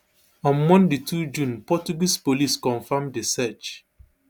on monday two june portuguese police confam di search